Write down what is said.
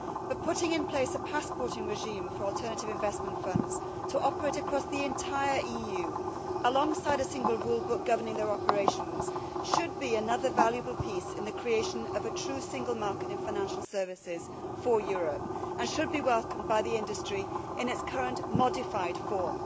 The putting in place of a passport regime for alternative investment funds, to operate across the entire EU alongside a single rule book governing their operations, should be another valuable piece in the creation of a true single market in financial services for Europe and should be welcomed by the industry in its current modified form.